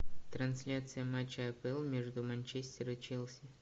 трансляция матча апл между манчестер и челси